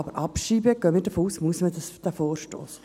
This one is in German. Aber abschreiben, davon gehen wir aus, muss man diesen Vorstoss.